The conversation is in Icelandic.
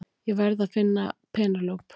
Ég verð að finna Penélope!